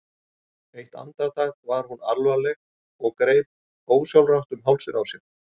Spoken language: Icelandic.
Eitt andartak var hún alvarleg og greip ósjálfrátt um hálsinn á sér.